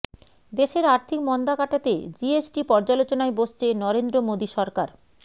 দেশের আর্থিক মন্দা কাটাতে জিএসটি পর্যালোচনায় বসছে নরেন্দ্র মোদী সরকার